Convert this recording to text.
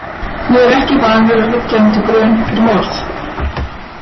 Ég er ekki vanur að liggja undir grun fyrir morð.